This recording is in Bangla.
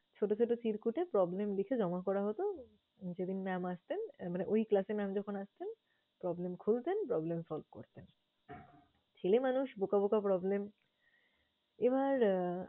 ছোট ছোট চিরকুটে problem লিখে জমা করা হতো। যেদিন mam আসতেন মানে ওই class এর mam যখন আসতেন, problem খুলতেন, problem solve করতেন। ছেলে মানুষ বোকা বোকা problem । এবার